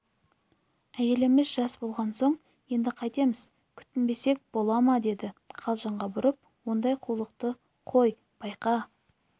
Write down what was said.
әйеліміз жас болған соң енді қайтеміз күтінбесек бола ма деді қалжыңға бұрып ондай қулықты қой байқа